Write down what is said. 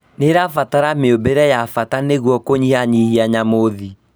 Nĩrabatara mĩũmbĩre ya bata nĩguo kũnyihanyihia njamuthi